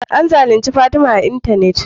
An zalunci Fatima a y intanet